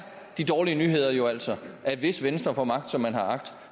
de dårlige nyheder jo altså at hvis venstre får magt som man har agt